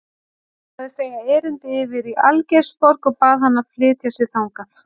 Hún sagðist eiga erindi yfir í Algeirsborg og bað hann að flytja sig þangað.